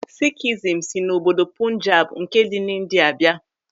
Sikhism si n'obodo Punjab nke dị m'India bịa.